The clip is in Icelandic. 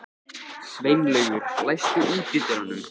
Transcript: Sveinlaugur, læstu útidyrunum.